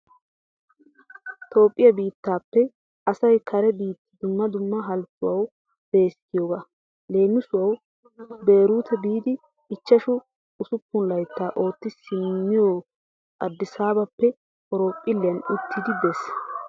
Toophiya biittaappe asay kare biitta dumma dumma halchchuwawu beesi giyogaa. Leemisuwawu beeruute biidi ichchashu usuppunlayttaa ootti simmawu aadisaabappe horophphilliyan uttidi bees.